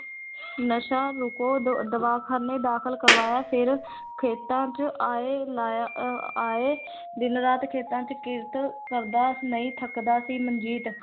ਨਸ਼ਾ ਰੋਕੋ ਦ ਦਵਾਖ਼ਾਨੇ ਦਾਖਲ ਕਰਵਾਇਆ ਫਿਰ ਖੇਤਾਂ ਚ ਆਏ ਲਾਇਆ ਅਹ ਆਏ ਦਿਨ ਰਾਤ ਖੇਤਾਂ ਚ ਕਿਰਤ ਕਰਦਾ ਨਹੀਂ ਥੱਕਦਾ ਸੀ ਮਨਜੀਤ